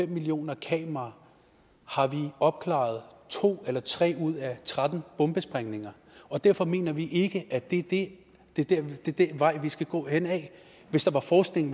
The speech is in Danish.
en millioner kameraer har vi opklaret to eller tre ud af tretten bombesprængninger og derfor mener vi ikke at det det er den vej vi skal gå hen ad hvis der var forskning